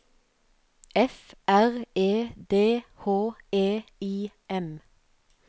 F R E D H E I M